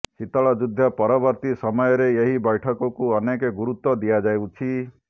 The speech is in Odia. ଶୀତଳ ଯୁଦ୍ଧ ପରବର୍ତ୍ତୀ ସମୟରେ ଏହି ବୈଠକକୁ ଅନେକ ଗୁରୁତ୍ୱ ଦିଆଯାଉଛି